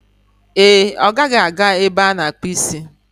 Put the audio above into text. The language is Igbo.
Ee e, ọ gaghị aga ebe ana-akpu isi